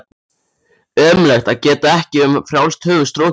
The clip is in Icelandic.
Ömurlegt að geta ekki um frjálst höfuð strokið.